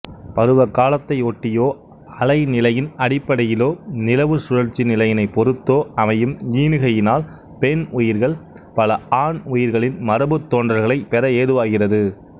பருவகாலத்தையொட்டியோ அலை நிலையின் அடிப்படையிலோ நிலவுச்சுழற்சிநிலையினைப் பொறுத்தோ அமையும் ஈனுகையினால் பெண் உயிர்கள் பல ஆண் உயிர்களின் மரபுத்தோன்றல்களைப்பெற ஏதுவாகிறது